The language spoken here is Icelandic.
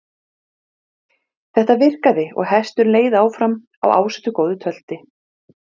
Þeir af ríki